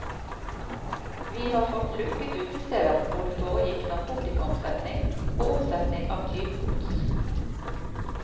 Vi har fått lukket utesteder hvor det foregikk narkotikaomsetning og omsetning av tyvegods.